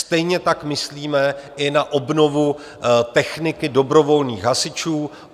Stejně tak myslíme i na obnovu techniky dobrovolných hasičů.